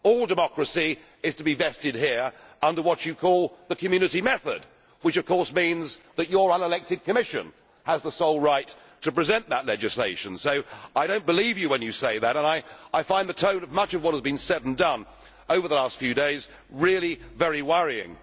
All democracy is to be vested here under what you call the Community method' which of course means that your unelected Commission has the sole right to present that legislation, so I do not believe you when you say that and I find the tone of much of what has been said and done over the last few days really very worrying.